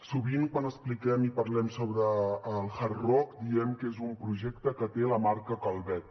sovint quan expliquem i parlem sobre el hard rock diem que és un projecte que té la marca calvet